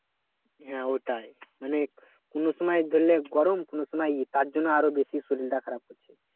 হ্যাঁ ওটাই মানে কোন সময় ধরলে গরম কোন সময় তার জন্য শরীরটা খারাপ করছে